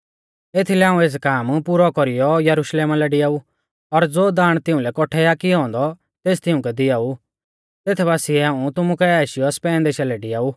एथीलै हाऊं एस काम पुरौ कौरीयौ यरुशलेमा लै डियाऊ और ज़ो दाण तिउंलै कौट्ठै आ कियौ औन्दौ तेस तिउंकै दियाऊ तेथ बासीऐ हाऊं तुमु काऐ आशीयौ स्पेन देशा लै डियाऊ